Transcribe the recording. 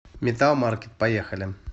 металл маркет поехали